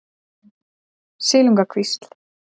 Silungakvísl